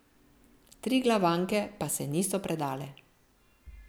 Triglavanke pa se niso predale.